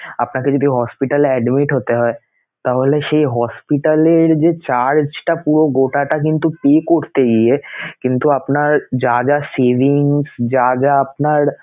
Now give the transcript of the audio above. আপনাকে যদি hospital এ admit হতে হয় তাহলে সেই hospital এর যে charge টা পুরো গোটাটা কিন্তু pay করতে গিয়ে কিন্তু আপনার যা যা savings যা যা আপনার